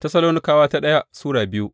daya Tessalonikawa Sura biyu